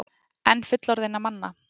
En fullorðinna manna?